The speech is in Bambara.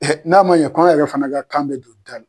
N'a ma ɲɛ k'an yɛrɛ fɛnɛ ka kan bɛ don da la